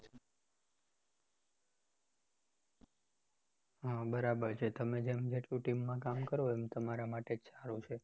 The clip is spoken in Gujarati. હા બરાબર છે તમે જેમ જેટલું team કામ કરો એમ તમારા માટે જ સારું છે